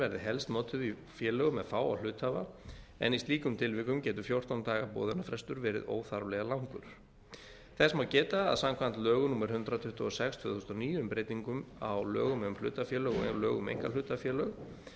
verði helst notuð í félögum með fáa hluthafa en í slíkum tilvikum getur fjórtán daga boðunarfrestur verið óþarflega langur þess má geta að samkvæmt lögum númer hundrað tuttugu og sex tvö þúsund og níu um breytingar á lögum um hlutafélaga og lögum um einkahlutafélög